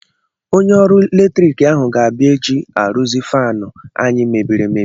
Onye ọrụ latrik ahụ ga-abịa echi arụzi faanụ anyị mebiri emebi.